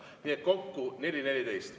Nii et kokku 4.14.